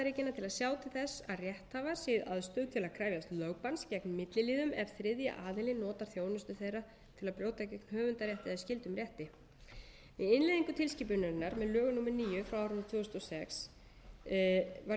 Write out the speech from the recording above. að sjá til þess að rétthafar séu í aðstöðu til að krefjast lögbanns gegn milliliðum ef þriðji aðili notar þjónustu þeirra til að brjóta gegn höfundarétti eða skyldum rétti við innleiðingu tilskipunarinnar með lögum númer níu tvö þúsund og sex var litið svo á að tilvitnað ákvæði teldist þegar uppfyllt með